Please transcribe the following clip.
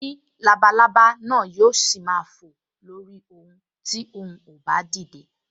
O ní labalábá náà yóò ṣì máa fò lórí òun ti òun ò bá dìde